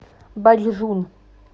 бачжун